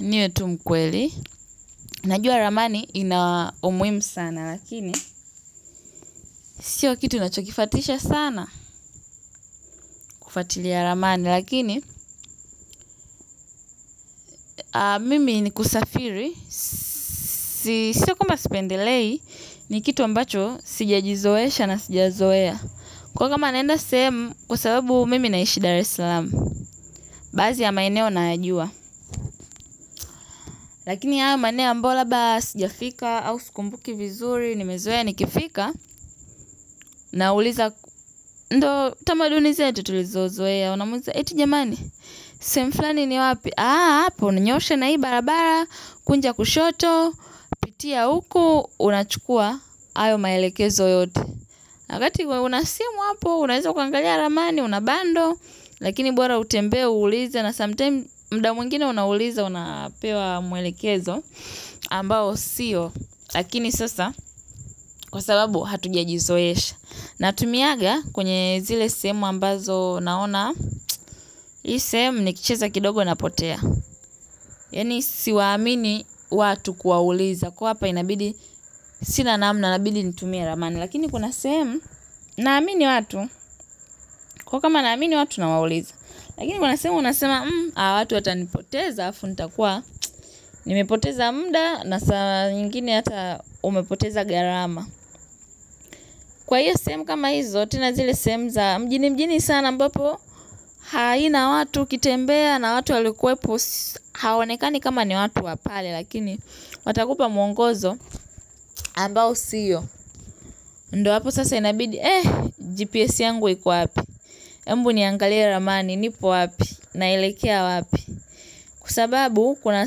Ndiyo tu mkweli, najua ramani inao umuhimu sana lakini, sio kitu ninachokifuatishsa sana kufatilia ramani lakini, mimi ni kusafiri, siyo kwamba sipendelei ni kitu ambacho sijajizoesha na sijazoea. Kwa kuwa kama naenda sehemu, kwasabubu mimi ninaishi daarslaam. Baadhi ya maeneo nayajua. Lakini haya maeneo ambayo labda sijafika, au sikumbuki vizuri, nimezoea nikifika na uliza, ndio tamaduni zetu tutulizo zoea wanamuuliza eti jamani, sehemu fulani ni wapi. Aa, hapo, unanyoshe na hii barabara, kunja kushoto pitia huku unachukua hayo maelekezo yote wakati una simu hapo unaweza ukaangalia ramani una bandle lakini bora utembee uulize lakini muda mwingine unauliza unapewa mwelekezo ambao siyo laakini sasa kwa sababu hatuja jizoesha. Na tumianga kwenye zile sehemu ambazo naona, hii sehemu ni kicheza kidogo napotea. Yaani siwaamini watu kuwauliza kwa hapa inabidi sina namna inabidi nitumie ramani. Lakini kuna sehemu naamini watu kwa hiyo kama naamini watu nawauliza. Lakini kuna sehemu unasema watu watanipoteza alafu nita kuwa nimepoteza muda na saa nyingine hata umepoteza gharama. Kwa hiyo sehemu kama hizo tena zile sehemu za mjini mjini sana ambapo aina watu ukitembea na watu walikuepo aonekani kama ni watu wa pale. Lakini watakupa mwongozo ambao siyo ndio hapo sasa inabidi eh GPS yangu iko wapi hebu niangalia ramani nipo wapi na elekea wapi. Kwa sababu kuna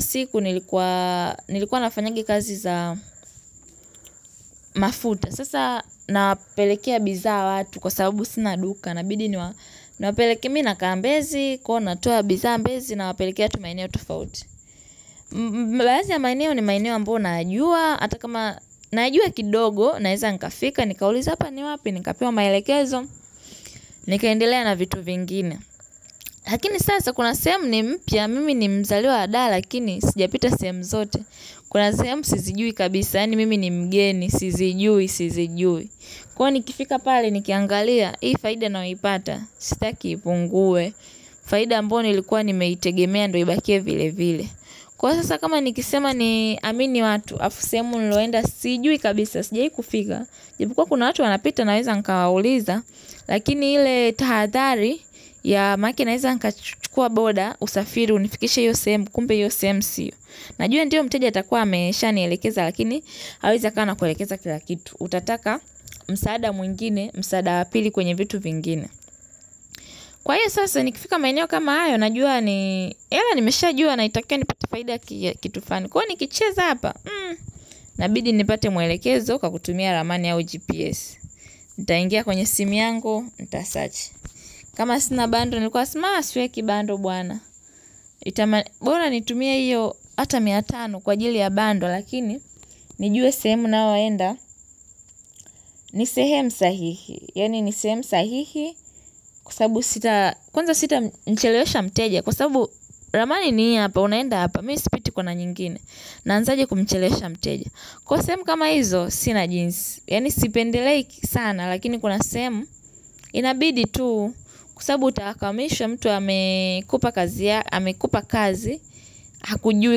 siku nilikuwa nafanyanga kazi za mafuta. Sasa napelekea bidhaa watu kwa sababu sina duka inabidi nawapelekea mimi nakaa mbezi. Kwa hiyo natoa bidhaa mbezi nawapelekea tu maeneo tofauti na baadhi ya maeneo ni maeneo ambayo nayajua hata kama najua kidogo naweza nikafika. Nikauliza hapa ni wapi nikapewa maelekezo. Nikaendelea na vitu vingine. Lakini sasa kuna sehemu ni mpya mimi ni mzaliwa daa. Lakini sijapita sehemu zote. Kuna sehemu sizijui kabisa, yaani mimi ni mgeni, sizijui, sizijui. Kwa hiyo nikifika pale ni kiangalia, hii faida ninayoipata, sitaki ipungue. Faida ambayo nilikuwa nimeitegemea ndio ibakie vile vile. Kwa hiyo sasa kama ni kisema ni amini watu, alafu sehemu nililoenda, sijui kabisa, sijai kufika ijapokuwa kwa kuna watu wanapita naweza nikawauliza. Lakini ile tahadhari ya makenaweza nikachukua boda, usafiri, unifikishe hiyo sehemu, kumbe hiyo sehemu siyo najua ndio mteja atakuwa ameshanielekeza lakini hawezi akawa anakuelekeza kila kitu. Utataka msaada mwingine, msaada wa pili kwenye vitu vingine. Kwa hiyo sasa nikifika maeneo kama hayo najua ni, ila nimeshajua naitakia nipate faida ya kitu fulani. Kwa hiyo nikicheza hapa, inabidi nipate mwelekezo kwa kutumia rumani ama GPS nitaingia kwenye simu yangu nisearch kama sina bundle nitakuwa siweki bundle bora nitumie hiyo hata mia tano kwa ajili ya bundle lakini nijue sehemu ninayoenda ni sehemu sahihi yaani ni sehemu sahihi kwa sababu kwanza sita mchelesha mteja. Kwa sababu ramani ni hapa unaenda hapa. Mimi sipiti kona nyingine. Naanzaje kumchelesha mteja. Kwa hivo sehemu kama hizo sina jinsi. Yaani sipendeleiki sana. Lakini kuna sehemu inabidi tu kwa sababu utakamishwa mtu amekupa kazi amekupa kazi hakujui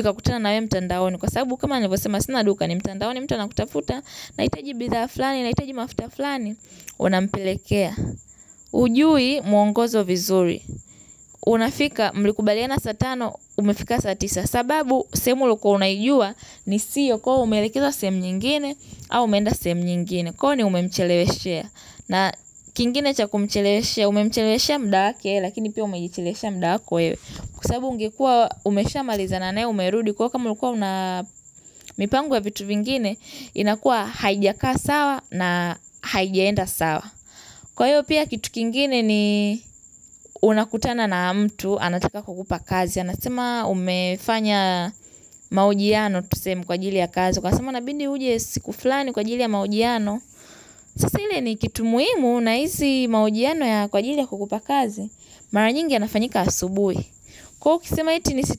ukakutana naye mtandaoni kwa sababu kama ninavosema sina duka ni mtandaoni mtu anakutafuta nahitaji bidhaa fulani, nahitaji mafuta fulani hujui mwongozo vizuri unafika mlikubaliana saa tano umefika saa tisa sababu sehemu uliyo kuwa unaijua ni siyo kwa umelekezwa sehemu nyingine au umeenda sehemu nyingine kwani umemcheleweshea na kingine cha kumcheleweshea umemcheleweshea muda wake lakini pia umejicheleweshea muda wako wewe. Kwa sabu ungekuwa umesha maliza naye umerudi kwa hiyo kama ulikuwa una mipango ya vitu vingine inakuwa haijakaa sawa na haijaenda sawa. Kwa hiyo pia kitu kingine ni unakutana na mtu anataka kukupa kazi. Anasema umefanya mahojiano tu sehemu kwa ajili ya kazi. Ukasema unabidi uje siku fulani kwa ajili ya mahojiano. Sasa ile ni kitu muhimu na hizi mahojiano yako kwa ajili ya kukupa kazi. Mara nyingi yanafanyika asubuhi. Kwa hiyo ukisema eti ni.